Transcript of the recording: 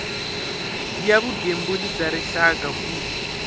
ya vugembuli bya rixaka ku